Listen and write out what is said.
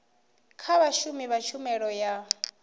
kha vhashumi vha tshumelo ya